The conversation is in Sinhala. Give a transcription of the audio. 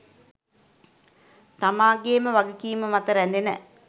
තමාගේම වගකීම මත රැඳෙන